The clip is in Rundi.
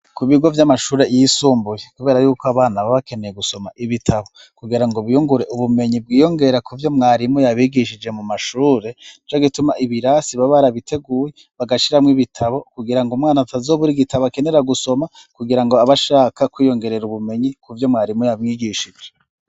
Ku bigo by'amashuri yisumbuye, kubera yuko abana ba bakeneye gusoma ibitabo kugira ngo biyungure ubumenyi bwiyongera ku vyo mwarimu yabigishije mu mashure jo gituma ibirasi ba barabiteguye bagashiramo ibitabo kugira ngo umwana ataz o buri gitabo akenera gusoma kugira ngo abashaka kwiyongerera ubumenyi ku vyo mwarimu yamwigishije.